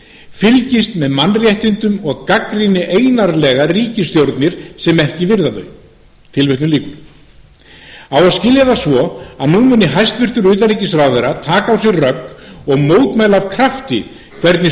fylgist með mannréttindum og gagnrýni einarðlega ríkisstjórnir sem ekki virða þau á að skilja það svo að nú muni hæstvirts utanríkisráðherra taka á sig rögg og mótmæla af krafti hvernig